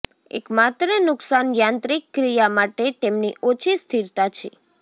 એક માત્ર નુકસાન યાંત્રિક ક્રિયા માટે તેમની ઓછી સ્થિરતા છે